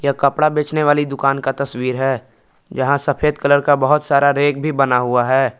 यह कपड़ा बेचने वाली दुकान का तस्वीर है यहां सफेद कलर का बहुत सारा रैक भी बना हुआ है।